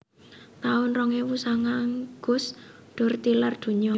taun rong ewu sanga Gus Dur tilar donya